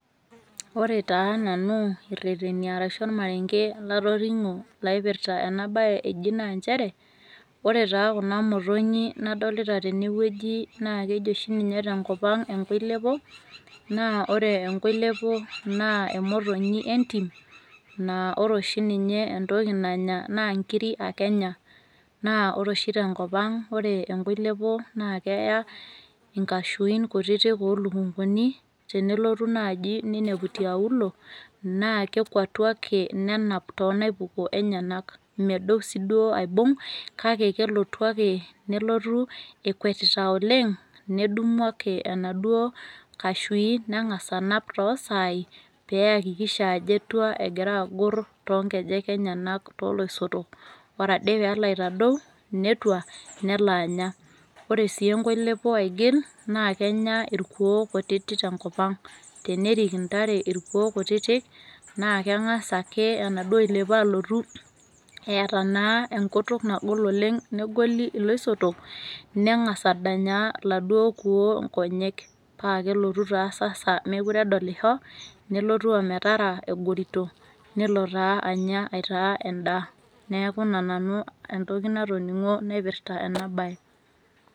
Ore taananu irreteni arashu olmarenge latoning'o laipirta enabaye eji naanchere ore taa kuna motonyi nadolita tenewueji naa keji oshi ninye tenkopang' enkoilepo naa ore enkoilepo naa emotonyi entim naa ore oshi ninye entoki nanya naa nkiri ake enya. Naa ore oshi tenkopang' naa ore enkoilepo naa keya inkashuin kutitik oolukunguni tenelotu naji neinepu tiaulo naakekuatu ake, nenap toonaipuko enyenak medou sii duo aibung' kake kelotu akee nelotu ekwetita oleng' nedumu ake enaduo kashui neng'as anap toosaai peeakikisha ajo etua egiraagorr toonkejek enyenak tooloisotok. Ore ade peloaitadou netua neloanya. Ore sii enkoilepo aigil naakenya irkuoo kutitik tenkopang'. Tenerik intare irkuoo kutiti naakeng'as ake enaduo oilepo alotu eata naa enkutuk nagol oleng' negoli iloisotok neng'as adanyaa laduo kuoo nkonyek paakelotu taa sasa meekuredolisho nelotu ometaraa egorito nelo taa anya aitaa endaa. Neaku ina nanu entoki natoning'o naipirta enabaye.